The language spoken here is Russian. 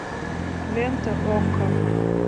лента окко